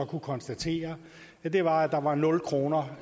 kunne konstatere var at der var nul kroner